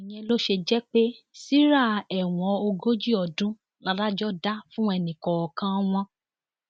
ìyẹn ló ṣe jẹ pé síra ẹwọn ogójì ọdún ládàjọ dá fún ẹnì kọọkan wọn